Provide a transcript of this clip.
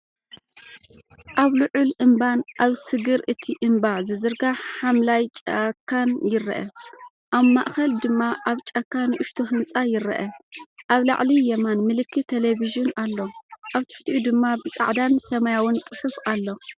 ኣብዚ ልዑል እምባን ኣብ ስግር እቲ እምባ ዝዝርጋሕ ሓምላይ ጫካን ይርአ። ኣብ ማእከል ድማ ኣብ ጫካ ንእሽቶ ህንጻ ይርአ። ኣብ ላዕሊ የማን ምልክት ቴሌቪዥን ኣሎ፣ ኣብ ትሕቲኡ ድማ ብጻዕዳን ሰማያውን ጽሑፍ ኣሎ።